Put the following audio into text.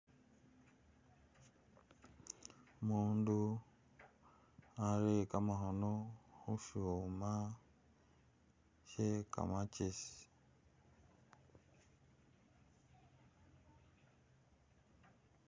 Umundu arere kamakhono khushuma she kamakesi